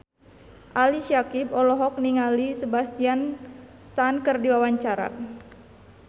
Ali Syakieb olohok ningali Sebastian Stan keur diwawancara